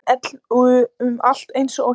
Engin ell út um allt eins og heima.